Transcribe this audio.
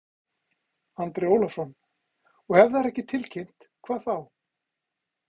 Andri Ólafsson: Og ef það er ekki tilkynnt, hvað þá?